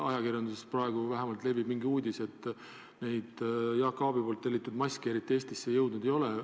Ajakirjanduses praegu vähemalt levib uudis, et neid Jaak Aabi tellitud maske eriti Eestisse jõudnud ei ole.